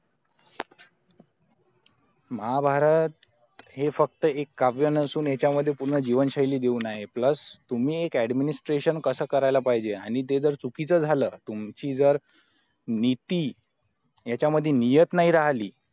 महाभारत हे फक्त एक काव्य नसून एका मध्ये पूर्ण जीवन शैली देऊन आहे plus तुम्ही administration कसं करायला पाहिजे आणि ते जर चुकीचं झालं तुमची जर नीती याच्यामध्ये नियत नाही राहिली